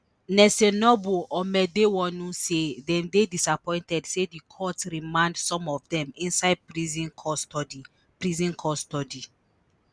nelson noble amedewonu say dem dey disappointed say di court remand some of dem inside prison custody prison custody